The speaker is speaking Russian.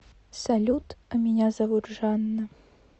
салют а меня зовут жанна